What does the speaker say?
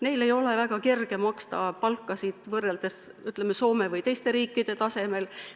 Neil ei ole väga kerge maksta palkasid, mis oleksid Soome või teiste riikide tasemel.